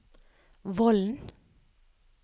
Vollen